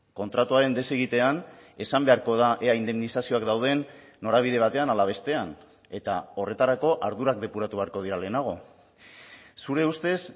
kontratuaren desegitean esan beharko da ea indemnizazioak dauden norabide batean ala bestean eta horretarako ardurak depuratu beharko dira lehenago zure ustez